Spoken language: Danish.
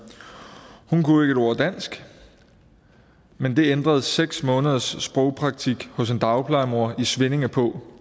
hun kunne ikke et ord dansk men det ændrede seks måneders sprogpraktik hos en dagplejemor i svinninge på